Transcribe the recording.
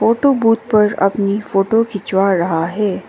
Photo booth पर अपनी photo खिंचवा रहा है।